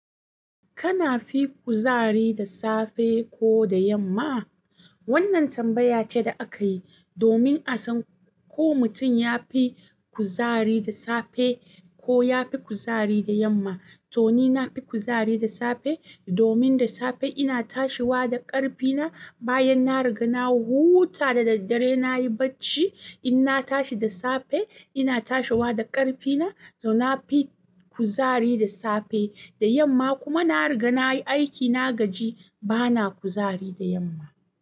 Kana fi kuzari da safe ko da yamma? Wannan tambaya ce da aka yi domin a san ko mutum ya fi kuzari da safe ko ya fi kuzari da yamma. To ni na fi kuzari da safe domin da safe ina tashiwa da ƙarfina bayan na riga na huta da daddare nayi bacci. In na tashi da safe ina tashiwa da ƙarfina, to na fi kuzari da safe. Da yamma kuma na riga na yi aiki na gaji bana kuzari da yamma.